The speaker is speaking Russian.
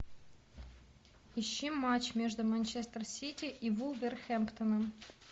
ищи матч между манчестер сити и вулверхэмптоном